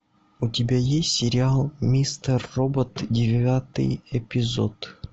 у тебя есть сериал мистер робот девятый эпизод